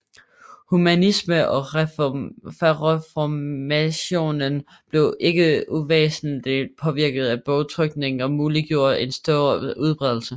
Humanismen og reformationen blev ikke uvæsentligt påvirket af bogtrykningen og muliggjorde en stor udbredelse